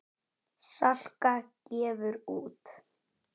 Salka gefur út.